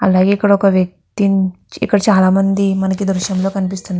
అలాగే ఇక్కడ ఒక వ్యక్తి ఇక్కడ చాలా మంది మనకి ఈ దృశ్యం లో కనిపిస్తున్నా --